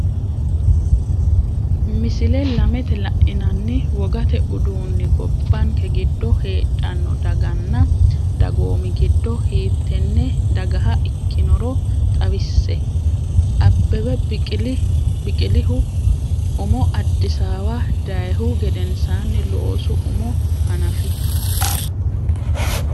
Misile lamete la’inanni wogate uduunni gobbanke giddo heedhanno daganna dagoomi giddo hiittenne dagaha ikkinoro xawisse, Abbebe Biqilihu umo Addisaawa dayihu gedensaanni looso umo hanaf?